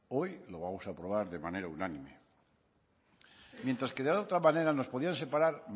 hoy lo vamos a aprobar de manera unánime mientras de que la otra manera nos podían separar